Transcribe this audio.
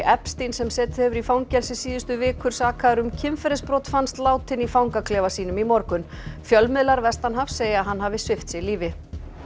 Epstein sem setið hefur í fangelsi síðustu vikur sakaður um kynferðisbrot fannst látinn í fangaklefa sínum í morgun fjölmiðlar vestanhafs segja að hann hafi svipt sig lífi